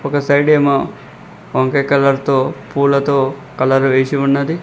ఒక సైడెమో వంకాయ్ కలర్తో పూలతో కలర్ వేసి ఉన్నది.